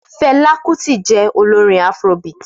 Fela Kuti je olorin Afrobeat.